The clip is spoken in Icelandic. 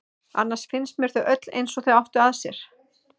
Annars finnst mér þau öll eins og þau áttu að sér.